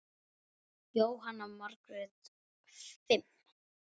Jóhanna Margrét: Fimm?